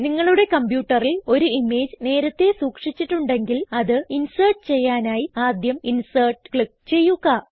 നിങ്ങളുടെ കംപ്യൂട്ടറിൽ ഒരു ഇമേജ് നേരത്തേ സൂക്ഷിച്ചിട്ടുണ്ടെങ്കിൽ അത് ഇൻസേർട്ട് ചെയ്യാനായി ആദ്യം ഇൻസെർട്ട് ക്ലിക്ക് ചെയ്യുക